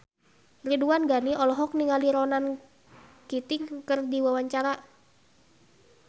Ridwan Ghani olohok ningali Ronan Keating keur diwawancara